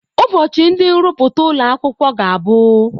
Ụbọchị ndị nrụpụta ụlọ akwụkwọ ga-abụ.